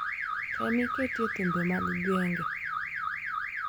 Tem iketie thumbe mag genge